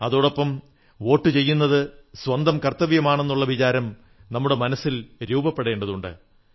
അതോടൊപ്പം വോട്ടു ചെയ്യുന്നത് സ്വന്തം കർത്തവ്യമാണെന്നുള്ള വിചാരം നമ്മുടെ മനസ്സിൽ രൂപപ്പെടേണ്ടതുണ്ട്